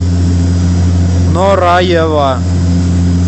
нораева